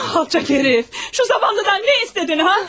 Alçaq hərif! Şu zavallıdan nə istədin, ha?